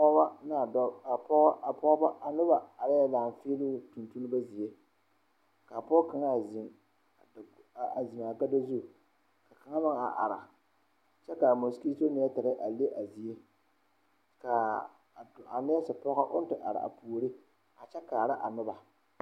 Pɔgebɔ ne a dɔba a noba arɛɛ laafiiloŋ tontonma zie laa pɔge kaŋa a ziŋ a gado zu ka kaŋa meŋ are kyɛ kaa mosikito nɛtire a leŋ a zie kaa nɛɛsipɔgɔ oŋ te are a puori a kyɛ kaara a noba.